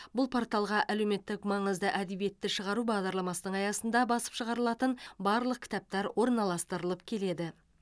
бұл порталға әлеуметтік маңызды әдебиетті шығару бағдарламасының аясында басып шығарылатын барлық кітаптар орналастырылып келеді